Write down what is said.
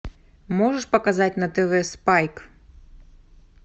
можешь показать на тв спайк